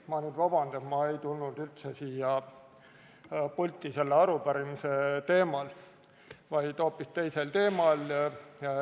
Ma palun nüüd vabandust, et ma ei tulnud üldse siia pulti selle arupärimise teemal, vaid hoopis teisel teemal.